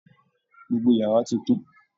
Gbogbo yàrá tí kún.